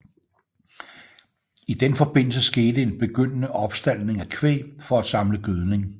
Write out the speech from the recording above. I den forbindelse skete en begyndende opstaldning af kvæg for at samle gødning